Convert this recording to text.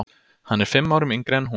Hann er fimm árum yngri en hún.